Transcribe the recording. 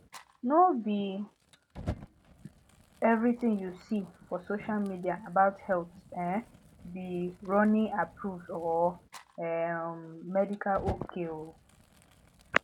no be everything you see for social media about health um be ronnieapproved or um medical ok um